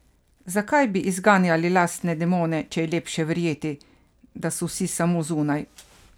Zakaj bi izganjali lastne demone, če je lepše verjeti, da so vsi samo zunaj?